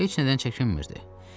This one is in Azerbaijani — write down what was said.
Heç nədən çəkinmirdi.